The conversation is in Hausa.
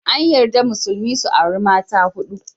An yarda Musulmi su auri mata huɗu